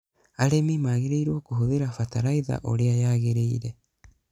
Arĩmi magĩrĩirwo kũhũthĩra bataraiza ũrĩa yagĩrĩire.